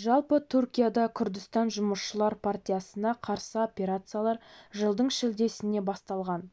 жалпы түркияда күрдістан жұмысшылар партиясына қарсы операциялар жылдың шілдесінде басталған